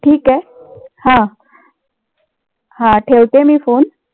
ठीक आहे. हां हां ठेवते मी phone